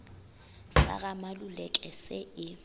sa ga maluleke se e